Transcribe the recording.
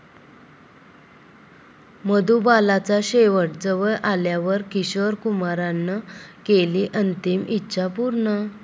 मधुबालाचा शेवट जवळ आल्यावर किशोर कुमारनं केली अंतिम इच्छा पूर्ण